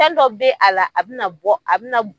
Fɛn dɔ bɛ a la a bɛna bɔ a bɛna